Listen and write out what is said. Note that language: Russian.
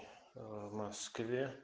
в москве